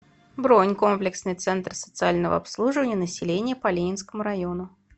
бронь комплексный центр социального обслуживания населения по ленинскому району